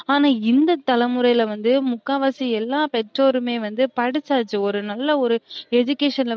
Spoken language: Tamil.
ஆனா இந்த தலமுறைல வந்து முக்காவாசி எல்லாப் பெற்றோருமே வந்து படிச்சாச்சு ஒரு நல்ல ஒரு education ல